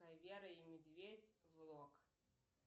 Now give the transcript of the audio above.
вера и медведь влог